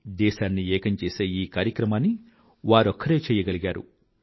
దేశాన్ని ఏకం చేసే ఈ కార్యక్రమాన్ని వారొక్కరే చెయ్యగలరు